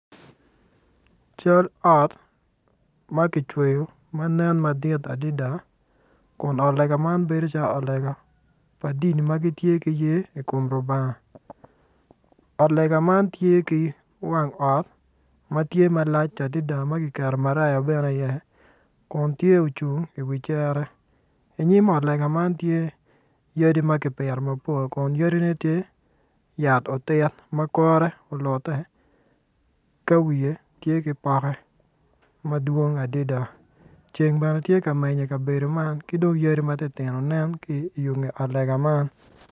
Cal ot ma ki cweyo ma nen madit adida kun ot lega man bedo calo ot lega pa dini ma gitye ki ye i kom rubanga ot lega man tye ki wang ot ma tye malac adida ma ki keto marayao bene iye kun tye ocung i wi cere inyim ot lega man tye yadi ma ki pito mapol kun yadine tye yat otit ma kore olute te wiye tye ki pokke madwong adida ceng bene tye ka meny i kabedo man ki dong yadi matitino nen ki i yunge ot lega man